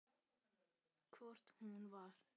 Hvort hún var!